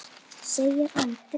segir Andri.